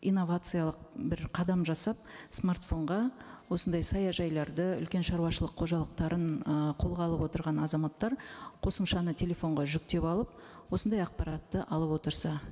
инновациялық бір қадам жасап смартфонға осындай саяжайларды үлкен шаруашылық қожалықтарын ы қолға алып отырған азаматтар қосымшаны телефонға жүктеп алып осындай ақпаратты алып отырса